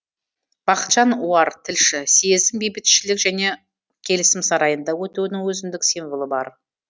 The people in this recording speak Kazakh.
бақытжан оар тілші съездің бейбітішілік және келісім сарайында өтуінің өзімдік символы бар